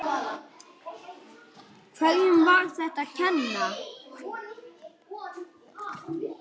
Hverjum er þetta að kenna?